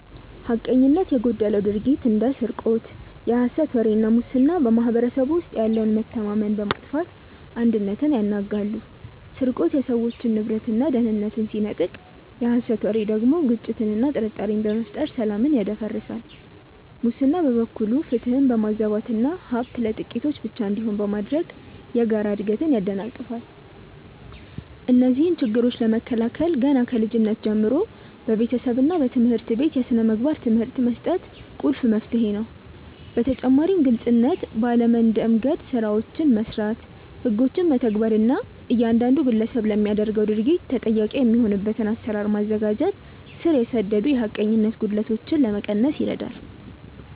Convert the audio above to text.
ሐቀኝነት የጎደለው ድርጊት እንደ ስርቆት፣ የሐሰት ወሬ እና ሙስና በማኅበረሰቡ ውስጥ ያለውን መተማመን በማጥፋት አንድነትን ያናጋሉ። ስርቆት የሰዎችን ንብረትና ደህንነት ሲነጥቅ፣ የሐሰት ወሬ ደግሞ ግጭትንና ጥርጣሬን በመፍጠር ሰላምን ያደፈርሳል። ሙስና በበኩሉ ፍትህን በማዛባትና ሀብት ለጥቂቶች ብቻ እንዲሆን በማድረግ የጋራ እድገትን ያደናቅፋል። እነዚህን ችግሮች ለመከላከል ገና ከልጅነት ጀምሮ በቤተሰብና በትምህርት ቤት የሥነ ምግባር ትምህርት መስጠት ቁልፍ መፍትሄ ነው። በተጨማሪም ግልጽነት ባለ መንደምገድ ስራዎችን መስራት፣ ህጎችን መተግበር እና እያንዳንዱ ግለሰብ ለሚያደርገው ድርጊት ተጠያቂ የሚሆንበትን አሰራር ማዘጋጀት ስር የሰደዱ የሐቀኝነት ጉድለቶችን ለመቀነስ ይረዳል።